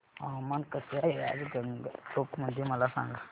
हवामान कसे आहे आज गंगटोक मध्ये मला सांगा